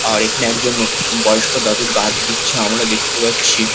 আর এখানে একজন ও বয়স্ক দাদু গার্ড দিচ্ছে আমরা দেখতে পাচ্ছি।